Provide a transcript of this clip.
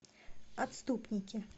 отступники